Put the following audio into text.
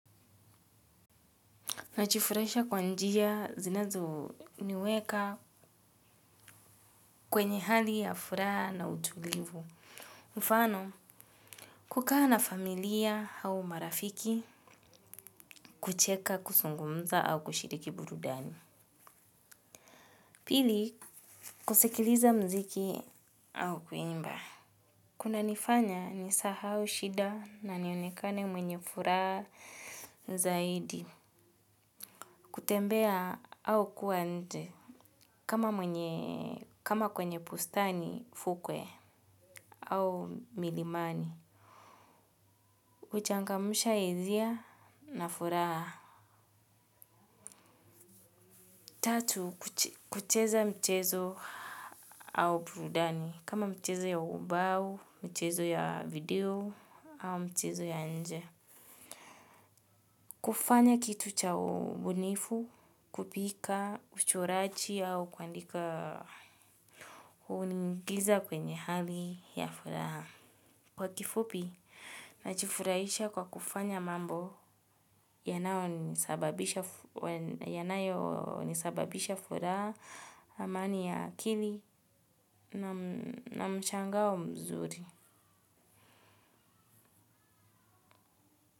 Najifurahisha kwa njia zinazo niweka kwenye hali ya furaha na utulivu. Mfano, kukaa na familia au marafiki kucheka kuzungumza au kushiriki burudani. Pili, kusikiliza mziki au kuimba. Kunanifanya nisahau shida na nionekane mwenye furaha zaidi. Kutembea au kuwa nje. Kama kwenye bustani, fukwe au milimani. Huchangamsha hisia na furaha. Tatu, kucheza mchezo au burudani. Kama mchezo ya ubao, mchezo ya video au mchezo ya nje. Kufanya kitu cha ubunifu, kupika, uchoraji au kuandika huniingiza kwenye hali ya furaha. Kwa kifupi, najifurahisha kwa kufanya mambo yanayonisababisha furaha amani ya akili na mshangao mzuri.